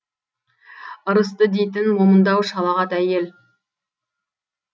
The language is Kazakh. ьірысты дейтін момындау шалағат әйел